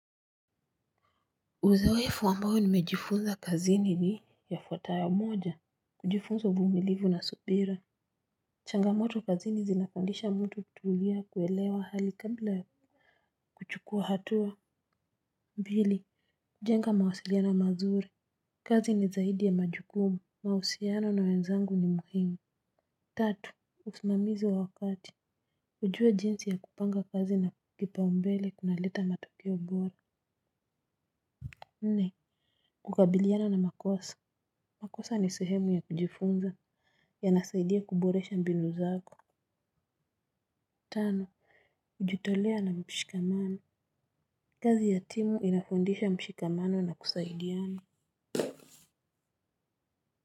Uzoefu ambayo nimejifunza kazini ni yafuatayo moja. Kujifunza uvumilivu na subira. Changamoto kazini zinapandisha mtu tutulia kuelewa hali kabla ya kuchukua hatua. Mbili kujenga mawasiliana mazuri. Kazi ni zaidi ya majukumu. Mausiano na wenzangu ni muhimu. Tatu usmamizi wa wakati. Kujua jinsi ya kupanga kazi na kipaumbele kunaleta matokio bora nne kukabiliana na makosa. Makosa ni sehemu ya kujifunza. Yanasaidia kuboresha mbinu zako. Tano ujitolea na mshikamano. Kazi ya timu inafundisha mshikamano na kusaidiana.